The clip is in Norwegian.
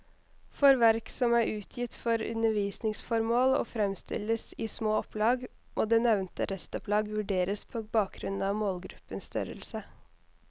For verk som er utgitt for undervisningsformål og fremstilles i små opplag, må det nevnte restopplag vurderes på bakgrunn av målgruppens størrelse.